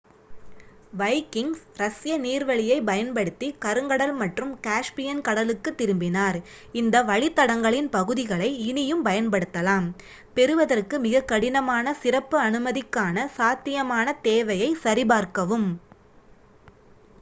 Vikings ரஷ்ய நீர்வழியைப் பயன்படுத்திக் கருங்கடல் மற்றும் காஸ்பியன் கடலுக்குத் திரும்பினார் இந்த வழித்தடங்களின் பகுதிகளை இனியும் பயன்படுத்தலாம் பெறுவதற்கு மிகக்கடினமான சிறப்பு அனுமதிக்கான சாத்தியமான தேவையைச் சரிபார்க்கவும்